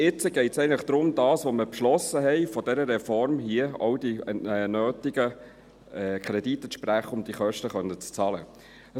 Jetzt geht es darum, für das, was wir beschlossen von dieser Reform haben, die nötigen Kredite zu sprechen, um die Kosten bezahlen zu können.